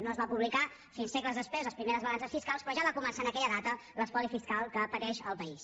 no es van publicar fins segles després les primeres balances fiscals però ja va començar en aquella data l’espoli fiscal que pateix el país